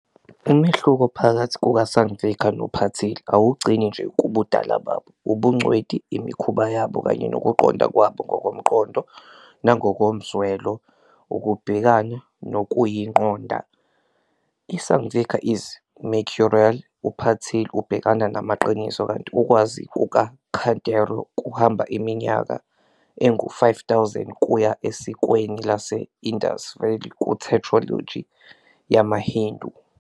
Umehluko phakathi kukaSangvikar noPatil awugcini nje kubudala babo, ubungcweti, imikhuba yabo, kanye nokuqonda kwabo ngokomqondo nangokomzwelo. ukubhekana nokuyiqonda. I-Sangvikar is mercurial, uPatil ubhekana namaqiniso, kanti ukwazi kukaKhanderao kuhamba iminyaka engu-5000 kuya esikweni lase-Indus Valley ku-tetralogy "yamaHindu."